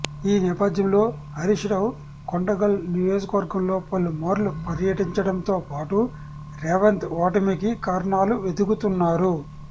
ఈ నేపథ్యంలో హరీష్ రావు కొడంగల్ నియోజకవర్గంలో పలుమార్లు పర్యటించడంతోపాటు రేవంత్ ఓటమికి కారణాలు వెతుకుతున్నారు